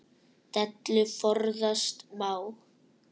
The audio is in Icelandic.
Dellu forðast má.